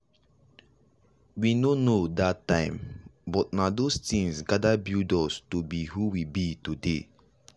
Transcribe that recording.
we no know that time buh nah those tinz gather build us to be who we be today.